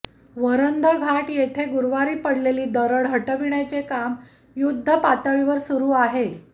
वरंध घाट येथे गुरूवारी पडलेली दरड हटविण्याचे काम युद्ध पातळीवर सुरू आहे